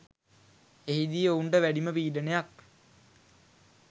එහිදී ඔවුන්ට වැඩිම පීඩනයක්